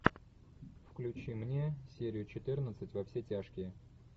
включи мне серию четырнадцать во все тяжкие